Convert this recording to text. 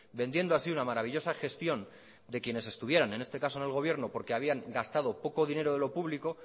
vendiendo así una maravillosa gestión de quienes estuvieran en este caso en el gobierno porque habían gastado poco dinero de lo público